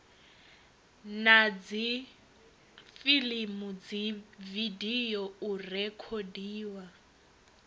na dzifilimu dzividio u rekhodiwa